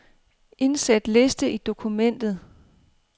Indsæt liste i dokumentet.